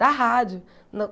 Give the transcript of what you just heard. Da rádio.